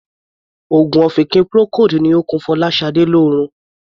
Òogùn ọ̀fìnkì Procold ni ó ń kun Fọláṣadé lórun.